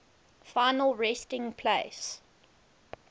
final resting place